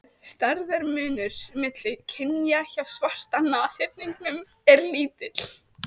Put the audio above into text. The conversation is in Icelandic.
Stærðarmunur milli kynja hjá svarta nashyrningnum er lítill.